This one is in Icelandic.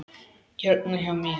Hérna hjá mér.